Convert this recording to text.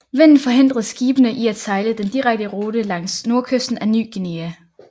Vinden forhindrede skibene i at sejle den direkte rute langs nordkysten af Ny Guinea